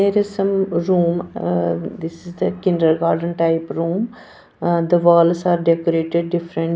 There is some room uh this is the kinder garden type room the walls are decorated different.